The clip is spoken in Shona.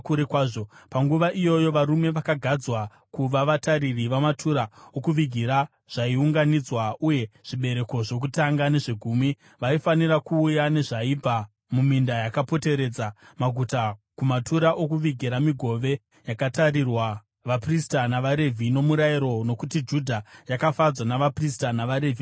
Panguva iyoyo varume vakagadzwa kuva vatariri vamatura okuvigira zvaiunganidzwa, uye zvibereko zvokutanga nezvegumi. Vaifanira kuuya nezvaibva muminda yakapoteredza maguta kumatura okuvigira migove yakatarirwa vaprista navaRevhi nomurayiro, nokuti Judha yakafadzwa navaprista navaRevhi vaishumira.